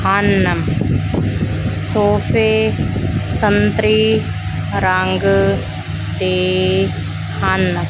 ਹਨ ਸੋਫੇ ਸੰਤਰੀ ਰੰਗ ਦੇ ਹਨ।